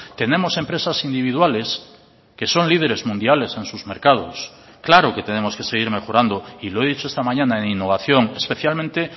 tenemos empresas individuales que son líderes mundiales en sus mercados claro que tenemos que seguir mejorando y lo he dicho esta mañana en innovación especialmente